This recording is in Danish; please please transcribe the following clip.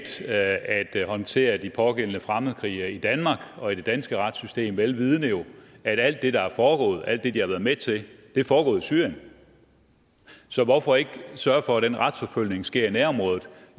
til at det at håndtere de pågældende fremmedkrigere i danmark og i det danske retssystem vel vidende at alt det der jo er foregået alt det de har været med til er foregået i syrien så hvorfor ikke sørge for at den retsforfølgning sker i nærområdet